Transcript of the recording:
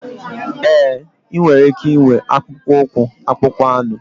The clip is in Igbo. Ee, ị nwere ike ịnwe akpụkpọ ụkwụ akpụkpọ anụ.